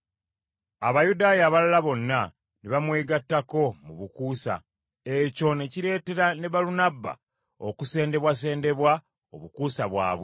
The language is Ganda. Abayudaaya abalala bonna ne bamwegattako mu bukuusa, ekyo ne kireetera ne Balunabba okusendebwasendebwa obukuusa bwabwe.